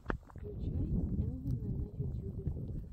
включай элвина на ютюбе